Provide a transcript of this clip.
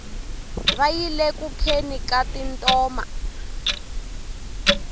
va yile ku kheni ka tintoma